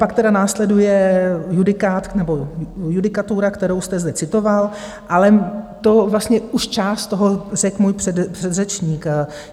Pak tedy následuje judikát nebo judikatura, kterou jste zde citoval, ale to vlastně už část toho řekl můj předřečník.